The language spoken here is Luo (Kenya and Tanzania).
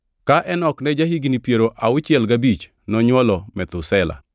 Ka Enok ne ja-higni piero auchiel gabich, nonywolo Methusela.